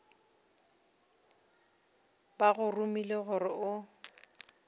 ba go romile gore o